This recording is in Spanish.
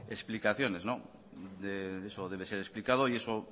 explicaciones eso debe de ser explicado y eso